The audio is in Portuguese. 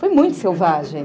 Foi muito selvagem.